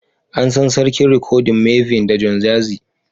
An san Sarkin rikodin Mavin da Don Jazzy.